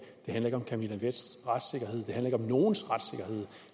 det handler ikke om camilla vests retssikkerhed det handler ikke om nogens retssikkerhed